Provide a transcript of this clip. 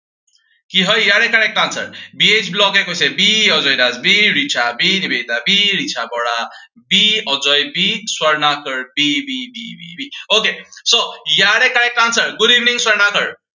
কি হয় ইয়াৰে correct answer বি এইচ ব্লগে কৈছে b Ajay Das b Richa b Nivedita b Richa Bora b Ajay b Swarnakar b b b b b, okay so ইয়াৰে correct answer, good evening Swarnakar